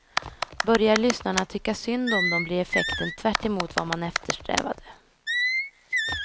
Börjar lyssnarna tycka synd om dem blir effekten tvärtemot vad man eftersträvade.